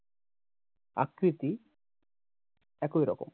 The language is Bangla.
আকৃতি একই রকম।